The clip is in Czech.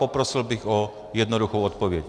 Poprosil bych o jednoduchou odpověď.